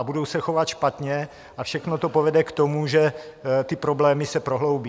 A budou se chovat špatně a všechno to povede k tomu, že ty problémy se prohloubí.